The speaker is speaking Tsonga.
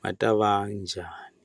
ma ta va njhani.